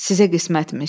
Sizə qismətmiş.